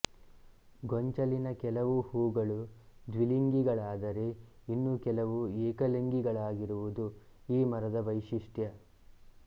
ಗೊಂಚಲಿನ ಕೆಲವು ಹೂಗಳು ದ್ವಿಲಿಂಗಿಗಳಾದರೆ ಇನ್ನು ಕೆಲವು ಏಕಲಿಂಗಳಾಗಿರುವುದು ಈ ಮರದ ವೈಶಿಷ್ಟ್ಯ